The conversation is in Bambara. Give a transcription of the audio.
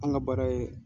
An ka baara ye